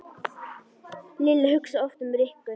Lilla hugsaði oft um Rikku.